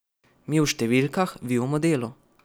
Mi o številkah, vi o modelu.